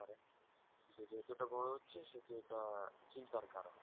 তো যেহেতু এটা বোরো হচ্ছে সেহেতো এটা চিন্তার কারণ